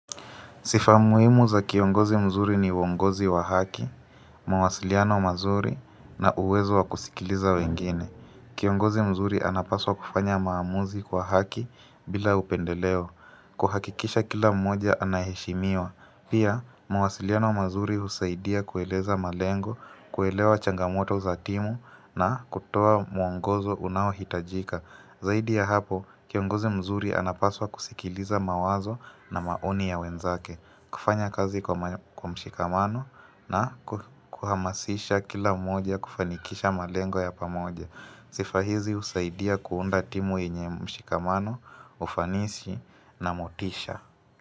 Sifa muhimu za kiongozi mzuri ni uongozi wa haki, mawasiliano mazuri na uwezo wa kusikiliza wengine. Kiongozi mzuri anapaswa kufanya maamuzi kwa haki bila upendeleo. Kuhakikisha kila mmoja anaheshimiwa. Pia, mawasiliano mazuri husaidia kueleza malengo, kuelewa changamoto za timu na kutoa muongozo unaohitajika. Zaidi ya hapo, kiongozi mzuri anapaswa kusikiliza mawazo na maoni ya wenzake. Kufanya kazi kwa mshikamano na kuhamasisha kila moja, kufanikisha malengo ya pamoja sifa hizi husaidia kuunda timu yenye mshikamano, ufanishi na motisha.